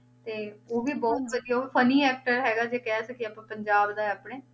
ਤੇ ਉਹ ਵੀ ਬਹੁਤ ਵਧੀਆ funny actor ਹੈਗਾ ਜੇ ਕਹਿ ਸਕੀਏ ਆਪਾਂ ਪੰਜਾਬ ਦਾ ਹੈ ਆਪਣੇ,